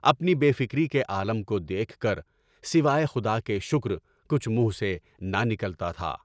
اپنی بے فکری کے عالم کو دیکھ کر سوائے خدا کے شکر کچھ منہ سے نہ نکلتا تھا۔